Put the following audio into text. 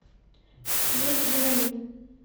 леди динамит